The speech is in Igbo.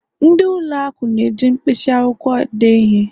ndị ụlọ akụ na-eji mkpịsị akwụkwọ dee ihe